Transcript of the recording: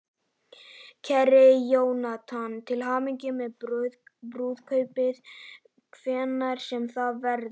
Kæri Jónatan, til hamingju með brúðkaupið, hvenær sem það verður.